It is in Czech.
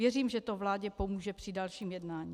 Věřím, že to vládě pomůže při dalším jednání.